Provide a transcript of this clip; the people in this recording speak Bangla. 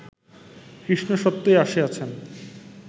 কৃষ্ণ সত্যই আসিয়াছেন